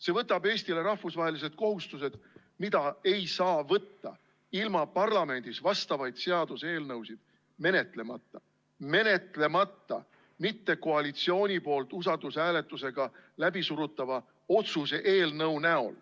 See võtab Eestile rahvusvahelised kohustused, mida ei saa võtta ilma parlamendis vastavaid seaduseelnõusid menetlemata, mitte koalitsiooni poolt usaldushääletusega läbisurutava otsuse eelnõuga.